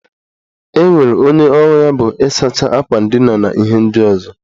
Enwere onye ọrụ ya bụ ịsacha akwa ndina na ihe ndị ọzọ